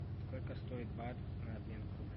сколько стоит бат на обмен к рублю